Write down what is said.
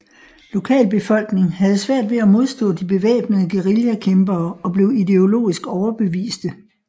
Lokalbefolkning havde svært ved at modstå de bevæbnede guerillakæmpere og blev ideologisk overbeviste